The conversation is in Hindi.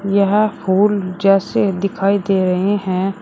यह फूल जैसे दिखाई दे रहे हैं।